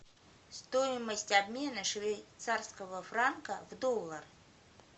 стоимость обмена швейцарского франка в доллар